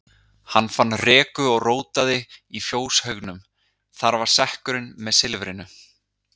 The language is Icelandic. Hann fann reku og rótaði í fjóshaugnum, þar var sekkurinn með silfrinu.